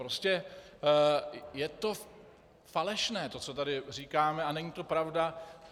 Prostě je to falešné, to, co tady říkáme, a není to pravda.